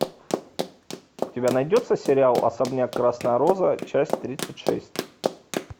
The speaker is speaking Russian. у тебя найдется сериал особняк красная роза часть тридцать шесть